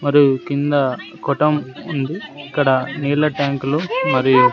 మరియు కింద కొట్టం ఉంది ఇక్కడ నీళ్ల ట్యాంకులు మరియు--